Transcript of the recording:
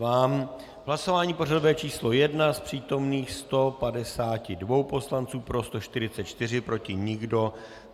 V hlasování pořadové číslo 1 z přítomných 152 poslanců pro 144, proti nikdo.